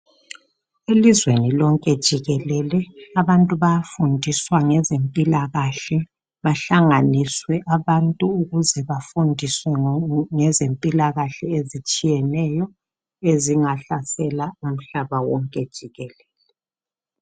Elizweni lonke jikelele abantu bayafundiswa ngezempilakahle bahlanganiswe abantu ukuze bafundiswe ngezempilakahle ezitshiyeneyo ezingahlasela umhlaba wonke jikelele.